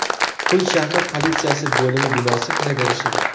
Pul shahri politsiyasi bo‘limi binosi kiraverishi.